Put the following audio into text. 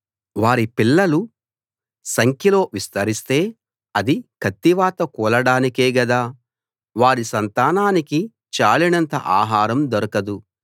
వారి పిల్లలు సంఖ్యలో విస్తరిస్తే అది కత్తివాత కూలడానికే గదా వారి సంతానానికి చాలినంత ఆహారం దొరకదు